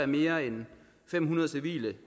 mere end fem hundrede civile